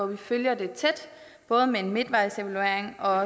vi følger det tæt både med en midtvejsevaluering og